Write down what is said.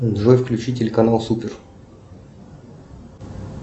джой включи телеканал супер